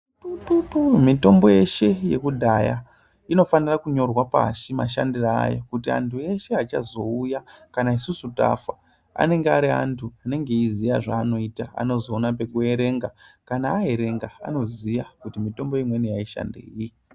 Mitombo yeshe yakudhaya inofanira kunyorwa pashi mashandire ayo. Kuti antu eshe achazouya kana isusu tafa anonge ari antu anenge eiziya zvaanoita anozoona pekuerenga. Kana aerenga anoziya kuti mitombo imweni haishandenyi.